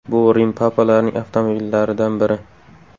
Bu Rim papalarining avtomobillaridan biri.